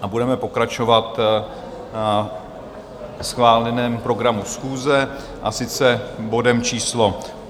A budeme pokračovat ve schváleném programu schůze, a sice bodem číslo